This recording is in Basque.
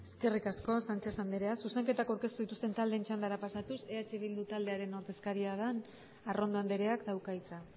eskerrik asko sánchez andrea zuzenketak aurkeztu dituzten taldeen txandara pasatuz eh bildu taldearen ordezkaria den arrondo andreak dauka hitza